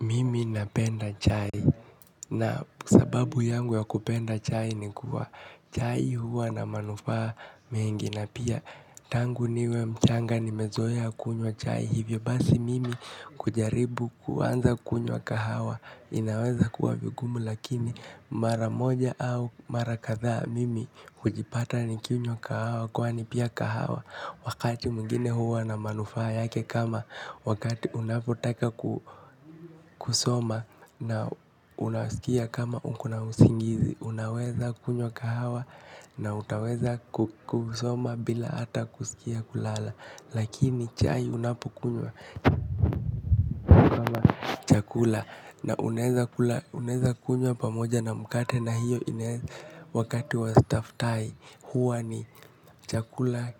Mimi napenda chai na sababu yangu ya kupenda chai ni kuwa chai huwa na manufaa mengi na pia tangu niwe mchanga nimezoea kunywa chai hivyo basi mimi kujaribu kuanza kunywa kahawa inaweza kuwa vigumu lakini mara moja au mara kadhaa mimi hujipata nikinywa kahawa kwani pia kahawa. Wakati mwingine huwa na manufaa yake kama wakati unapotaka kusoma na unaskia kma uko na usingizi unaweza kunywa kahawa na utaweza kusoma hata bila kuskia kulala lakini chai unapokunywa kama chakula na unaweza kula unaweza kunywa pamoja na mkate na hiyo inaeza wakati wa staftahi huwa ni chakula